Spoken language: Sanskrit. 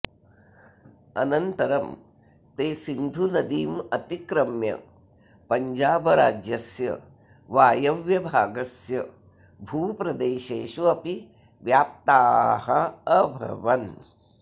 अनन्तरं ते सिन्धुनदीम् अतिक्रम्य पञ्जाबराज्यस्य वायुव्यभागस्य भूप्रदेशेषु अपि व्याप्ताः अभवन्